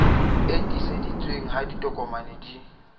e tiiseditsweng ha ditokomane di